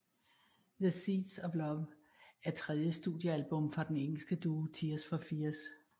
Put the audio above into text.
The Seeds of Love er tredje studioalbum fra den engelske duo Tears For Fears